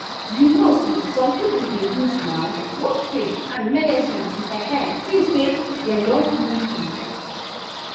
you know say some people dey use um both faith and medicine to[um]feel say dem don fully heal.